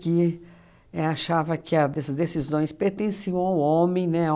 Que é achava que a deci decisões pertenciam ao homem, né?